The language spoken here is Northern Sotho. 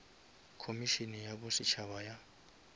khomišene ya bo setšhaba ya